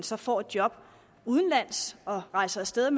så får et job udenlands og rejser af sted